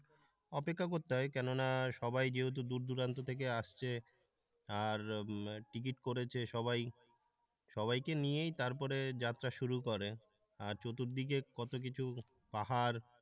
অপেক্ষা করতে হয় কেননা সবাই যেহেতু দূর দূরান্ত থেকে আসছে আর টিকিট করেছে সবাই, সবাইকে নিয়েই তারপরে যাত্রা শুরু করে আর চতুর্দিকে কত কিছু পাহাড়